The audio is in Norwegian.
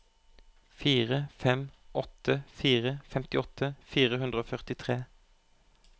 fire fem åtte fire femtiåtte fire hundre og førtitre